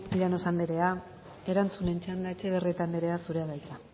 llanos anderea erantzunen txanda etxebarrieta anderea zurea da hitza